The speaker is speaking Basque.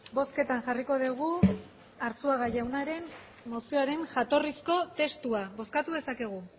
bozketara jarriko dugu arzuaga jaunaren jatorrizko mozioaren jatorrizko testua bozkatu dezakegu